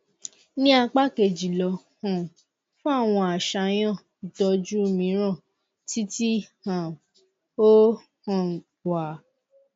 ni apa keji lọ um fun awọn aṣayan itọju miiran ti ti um o um wa